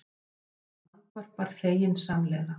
Hún andvarpar feginsamlega.